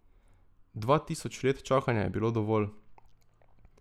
Dva tisoč let čakanja je bilo dovolj.